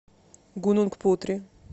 гунунг путри